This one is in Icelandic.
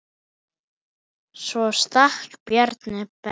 Svo stakk Bjarni Ben.